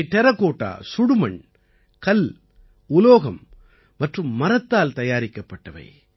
இவை டெராகோட்டா சுடுமண் கல் உலோகம் மற்றும் மரத்தால் தயாரிக்கப்பட்டவை